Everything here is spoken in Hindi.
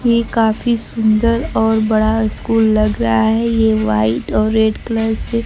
ये काफी सुंदर और बड़ा स्कूल लग रहा है ये व्हाइट और रेड कलर से --